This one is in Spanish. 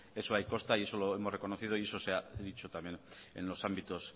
eso ahí consta y eso lo hemos reconocido y eso se ha dicho también en los ámbitos